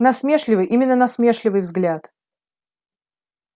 насмешливый именно насмешливый взгляд